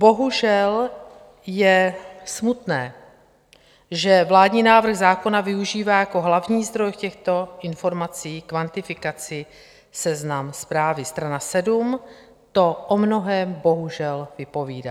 Bohužel je smutné, že vládní návrh zákona využívá jako hlavní zdroj v těchto informacích kvantifikaci seznam zprávy strana 78 - to o mnohém bohužel vypovídá.